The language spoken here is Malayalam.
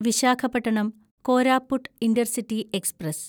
Visakhapatnam Koraput intercity express